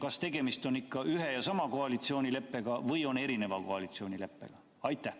Kas tegemist on ikka ühe ja sama koalitsioonileppega või on tegemist erineva koalitsioonileppega?